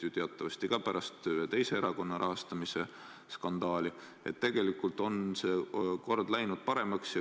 Ja teatavasti on pärast ühe teise erakonna rahastamisskandaali see kord läinud paremaks.